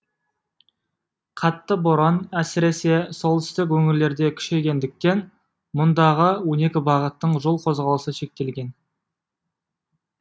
қатты боран әсіресе солтүстік өңірлерде күшейгендіктен мұндағы он екі бағыттың жол қозғалысы шектелген